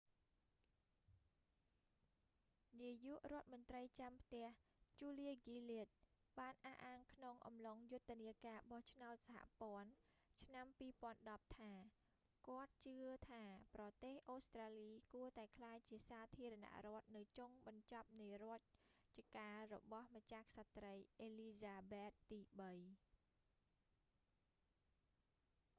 នាយករដ្ឋមន្ត្រីចាំផ្ទះ ជូលៀ ហ្គីលាដ julia gillard បានអះអាងក្នុងអំឡុងយុទ្ធនាការបោះឆ្នោតសហព័ន្ធ ឆ្នាំ 2010 ថា គាត់ជឿថា ប្រទេសអូស្ត្រាលី គួរតែក្លាយជាសាធារណរដ្ឋនៅចុងបញ្ចប់នៃរជ្ជកាលរបស់ម្ចាស់ក្សត្រី អេលីហ្សាបែតទីបី